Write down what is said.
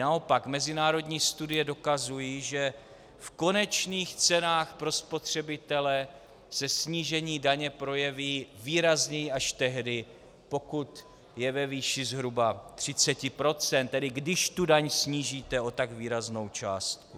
Naopak mezinárodní studie dokazují, že v konečných cenách pro spotřebitele se snížení daně projeví výrazněji až tehdy, pokud je ve výši zhruba 30 %, tedy když daň snížíte o tak výraznou částku.